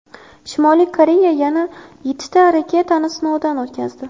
Shimoliy Koreya yana yettita raketani sinovdan o‘tkazdi.